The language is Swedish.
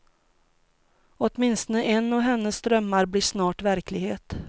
Åtminstone en av hennes drömmar blir snart verklighet.